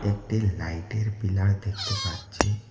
একটি লাইট এর পিলার দেখতে পাচ্ছি।